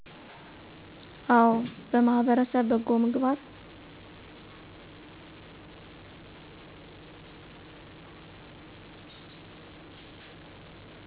አወ በማህበረሰብ በጎ ምግባር